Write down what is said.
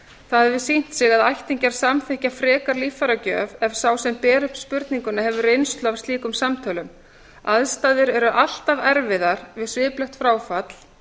það hefur sýnt sig að ættingjar samþykkja frekar líffæragjöf ef sá sem ber upp spurninguna hefur reynslu af slíkum samtölum aðstæður eru alltaf erfiðar við sviplegt fráfall